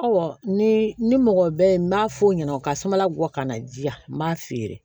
ni ni mɔgɔ bɛ n b'a f'o ɲɛna u ka samara gɔ ka na di yan n b'a feere